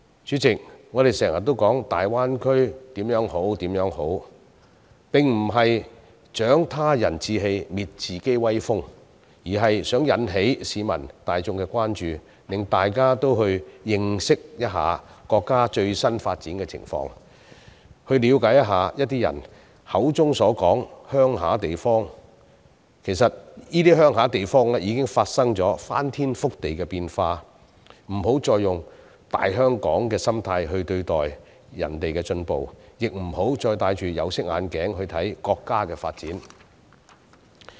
主席，我們常常把大灣區的好處掛在嘴邊，並不是要"長他人志氣，滅自己威風"，而是想引起市民大眾的關注，讓大家也去認識一下國家的最新發展情況，了解一下人們口中的鄉村地方，其實已經發生了翻天覆地的變化，不要再以"大香港"的心態看待人家的進步，也不要再戴着有色眼鏡來看國家的發展。